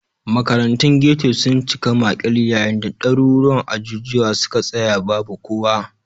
Makarantun ghetto sun cika makil, yayin da daruruwan ajujuwa suka tsaya babu kowa